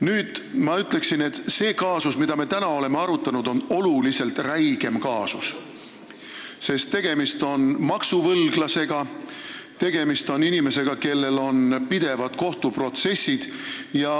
Nüüd, ma ütleksin, et see kaasus, mida me täna oleme arutanud, on oluliselt räigem, sest tegemist on maksuvõlglasega, inimesega, kellel on pidevad kohtuprotsessid.